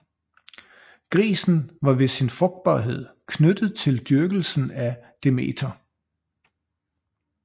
Grisen var ved sin frugtbarhed knyttet til dyrkelsen af Demeter